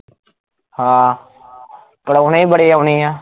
ਹਾਂ ਪਲਾਉਣੇ ਬੜੇ ਆਉਣੇ ਆ